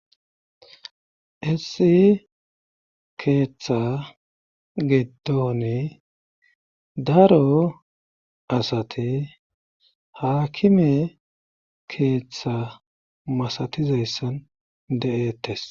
Issi keeththa gidoni daro asati haakime keeththa masatizayssan de7eettes